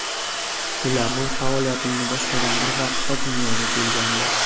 Ular men faoliyatimni boshlagan bir vaqtda dunyoga kelgandi.